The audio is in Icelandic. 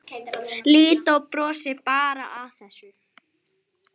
Lídó brosir bara að þessu.